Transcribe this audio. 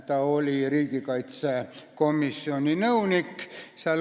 Ta oli riigikaitsekomisjoni nõunik.